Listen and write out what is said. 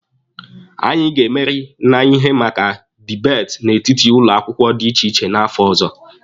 Anyị ga-emeri na ihe maka dibeeti n'etiti ụlọ akwụkwọ dị iche iche n'afọ ọzọ.